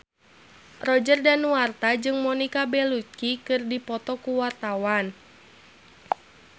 Roger Danuarta jeung Monica Belluci keur dipoto ku wartawan